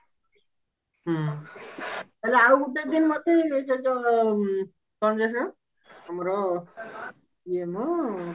ହୁଁ ଆଉ ଗୋଟେ ଦିନ ତ ସେତ କଣ ଯେ ସେ ଆମର ଇଏମ କଣ ତ